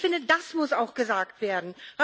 Ich finde, das muss auch gesagt werden.